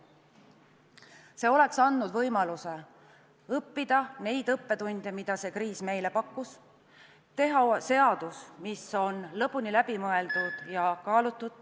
See oleks andnud võimaluse arvestada õppetunde, mida see kriis meile on pakkunud, ja teha seadus, mis on lõpuni läbimõeldud ja kaalutud.